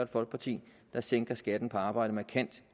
folkeparti der sænker skatten på arbejde markant